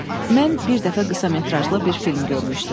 Mən bir dəfə qısa metrajlı bir film görmüşdüm.